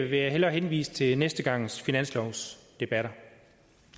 vil jeg hellere henvise til næste gangs finanslovsdebatter